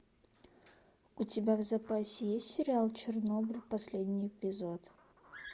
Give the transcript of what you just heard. у тебя в запасе есть сериал чернобыль последний эпизод